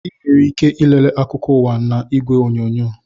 Ị nwere ike ị lele akụkọ ụwa n'igwe onyonyo